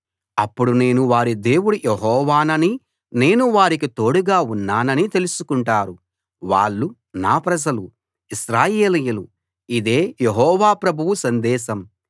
అప్పుడు నేను వారి దేవుడు యెహోవాననీ నేను వారికి తోడుగా ఉన్నాననీ తెలుసుకుంటారు వాళ్ళు నా ప్రజలు ఇశ్రాయేలీయులు ఇదే యెహోవా ప్రభువు సందేశం